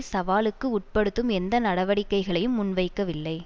சவாலுக்கு உட்படுத்தும் எந்த நடவடிக்கைகளையும் முன்வைக்கவில்லை